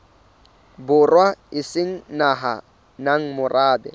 borwa e se nang morabe